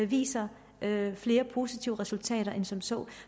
viser flere positive resultater end som så